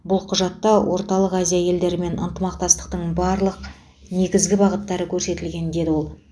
бұл құжатта орталық азия елдерімен ынтымақтастықтың барлық негізгі бағыттары көрсетілген деді ол